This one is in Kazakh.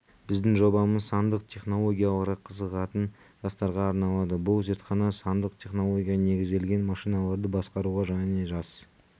біздің жобамыз сандық технологияларға қызығатын жастарға арналады бұл зертхана сандық технологияға негізделген машиналарды басқаруға және жас